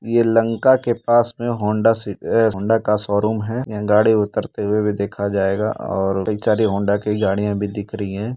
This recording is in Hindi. यह लंका के पास में होंडा सि ऐ होंडा का शोरूम है। यहां गाड़ी उतरते हुए भी देखा जाएगा और बेचारी होंडा की गाड़ी भी दिख रही है।